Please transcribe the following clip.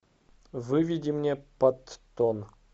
выведи мне паттон